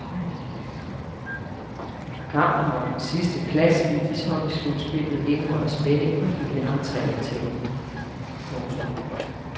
Kampen om den sidste plads i ishockeyslutspillet indeholder spænding for hele entreindtægten. punktum